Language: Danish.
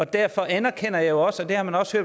derfor anerkender jeg også og det har man også